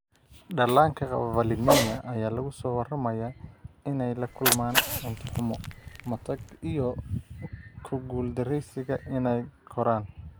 Dhallaanka qaba valinemia ayaa lagu soo waramayaa inay la kulmaan cunto xumo, matag, iyo ku guuldareysiga inay koraan.